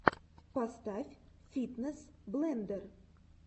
поставь фитнес блендер